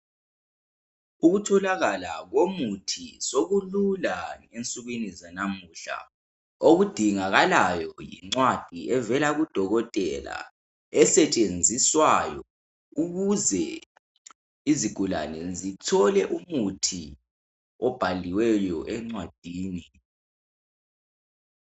Ukutholakala komuth8 sekulula ngensukwini zalamuhla. Okudingakalayo yincwadi evela kudokotela. Ukuze isigulane sithole umuthi obhaliweyo encwadini.